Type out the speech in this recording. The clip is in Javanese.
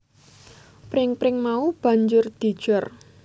Pring pring mau banjur dijor